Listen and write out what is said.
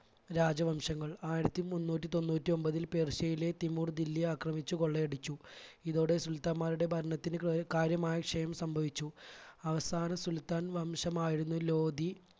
രാജവംശങ്ങൾ ആയിരത്തി മൂന്നൂറ്റി തൊണ്ണൂറ്റി ഒൻപതിൽ പേർഷ്യയിലെ തിമൂർ ദില്ലി ആക്രമിച്ച് കൊള്ളയടിച്ചു. ഇതോടെ സുൽത്താന്മാരുടെ ഭരണത്തിന് കാര്യമായ ക്ഷയം സംഭവിച്ചു. അവസാന സുൽത്താൻ വംശമായിരുന്ന ലോധി